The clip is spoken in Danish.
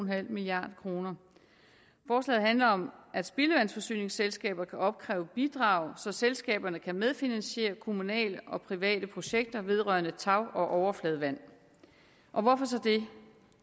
milliard kroner forslaget handler om at spildevandsforsyningsselskaber kan opkræve bidrag så selskaberne kan medfinansiere kommunale og private projekter vedrørende tag og overfladevand og hvorfor så det